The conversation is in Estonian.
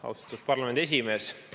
Austatud parlamendi esimees!